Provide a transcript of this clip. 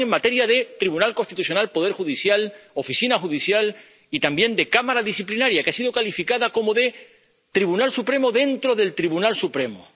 Lo hacen en materia de Tribunal Constitucional, poder judicial, Oficina Judicial y también de Cámara Disciplinaria, que ha sido calificada como de Tribunal Supremo dentro del Tribunal Supremo.